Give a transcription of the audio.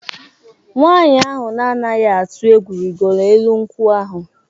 Nwanyị ahụ na-anaghị atụ egwu rịgoro elu nkwụ ahụ.